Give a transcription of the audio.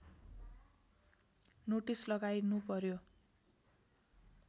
notice लगाइनु पर्‍यो